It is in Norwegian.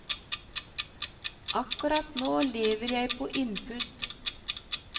Akkurat nå lever jeg på innpust.